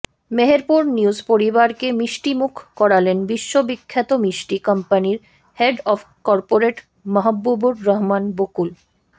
Meherpur news পরিবারকে মিষ্টিমুখ করালেন বিশ্ববিখ্যাত মিষ্টি কোম্পানির head of corporate Mahbubur Rahman Bakul